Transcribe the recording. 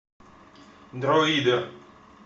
дроидер